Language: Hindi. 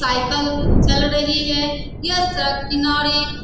साइकल चल रही है यह सड़क किनारे --